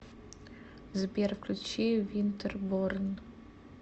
сбер включи винтерборн